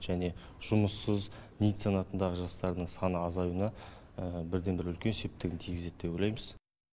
және жұмыссыз нит санатындағы жастардың саны азаюына бірден бір үлкен септігін тигізеді деп ойлаймыз